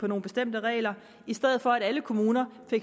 nogle bestemte regler i stedet for at alle kommuner får